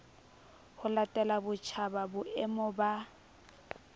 ho latela botjhaba boemo ba